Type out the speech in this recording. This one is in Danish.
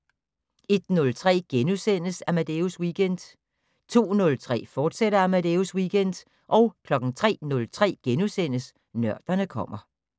01:03: Amadeus Weekend * 02:03: Amadeus Weekend, fortsat 03:03: Nørderne kommer *